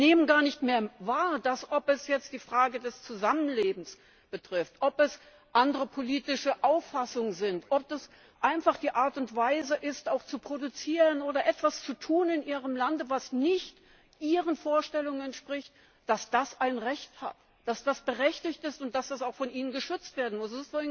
Sie nehmen gar nicht mehr wahr, ob es jetzt die Frage des Zusammenlebens betrifft, ob es andere politische Auffassungen sind, ob das einfach die Art und Weise ist, auch zu produzieren oder etwas zu tun in Ihrem Lande, was nicht Ihren Vorstellungen entspricht, dass das ein Recht hat, dass das berechtigt ist und dass das auch von Ihnen geschützt werden muss.